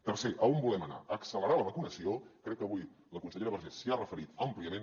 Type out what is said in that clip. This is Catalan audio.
tercer a on volem anar a accelerar la vacunació crec que avui la consellera vergés s’hi ha referit àmpliament